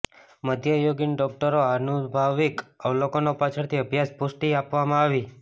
મધ્યયુગીન ડોક્ટરો આનુભાવિક અવલોકનો પાછળથી અભ્યાસ પુષ્ટિ આપવામાં આવી